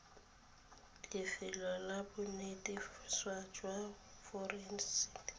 lefelong la bonetetshi jwa forensiki